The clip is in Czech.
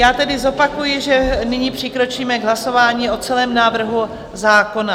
Já tedy zopakuji, že nyní přikročíme k hlasování o celém návrhu zákona.